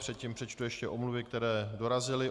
Předtím přečtu ještě omluvy, které dorazily.